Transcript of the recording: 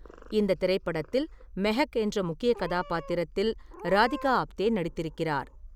இந்தத் திரைப்படத்தில் மெஹக் என்ற முக்கியக் கதாபாத்திரத்தில் ராதிகா ஆப்தே நடித்திருக்கிறார்.